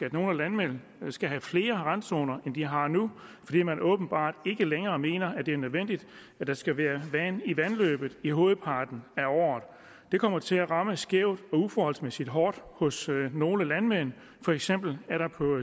at nogle landmænd skal have flere randzoner end de har nu fordi man åbenbart ikke længere mener at det er nødvendigt at der skal være vand i vandløbet i hovedparten af året det kommer til at ramme skævt og uforholdsmæssigt hårdt hos nogle landmænd for eksempel er der på